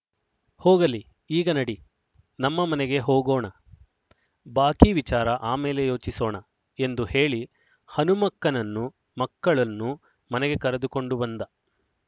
ಹೋಗಲಿ ಈಗ ನಡಿ ನಮ್ಮ ಮನೆಗೆ ಹೋಗೋಣ ಬಾಕಿ ವಿಚಾರ ಆಮೇಲೆ ಯೋಚಿಸೋಣ ಎಂದು ಹೇಳಿ ಹನುಮಕ್ಕಮ್ಮನನ್ನು ಮಕ್ಕಳನ್ನು ಮನೆಗೆ ಕರೆದುಕೊಂಡ ಬಂದ